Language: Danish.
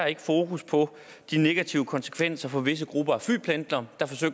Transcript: ikke fokus på de negative konsekvenser for visse grupper af flypendlere